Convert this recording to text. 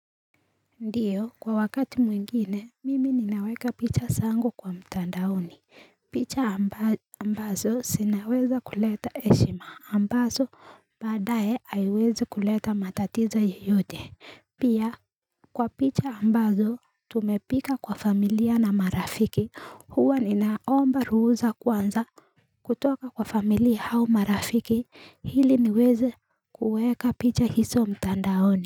Ndiyo kwa wakati mwingine mimi ninaweka picha zangu kwa mtandaoni picha ambazo sinaweza kuleta eshima ambazo badaye aiweze kuleta matatizo yeyote Pia kwa picha ambazo tumepika kwa familia na marafiki huwa ninaomba ruhusa kwanza kutoka kwa familia hau marafiki hili niweze kuweka picha hiso mtandaoni.